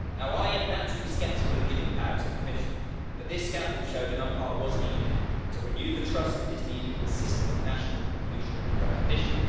I am naturally sceptical of giving power to the Commission, but this scandal showed an umpire was needed to renew the trust that is needed in a system of national mutual recognition.